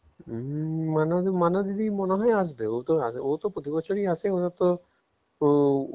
উম মানা দি মানা দিদি মনেহয় আসবে ও তো ও তো প্রতি বছরই আসে ওদের তো ও